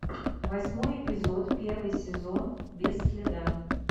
восьмой эпизод первый сезон без следа